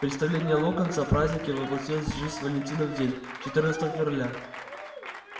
представление локонса о празднике воплотилось в жизнь в валентинов день четырнадцатого февраля